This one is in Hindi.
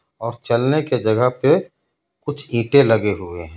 और चलने के जगह पे कुछ ईंटें लगे हुए हैं.